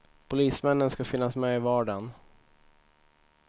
Polismännen ska finnas med i vardagen.